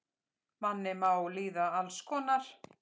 Manni má líða alls konar.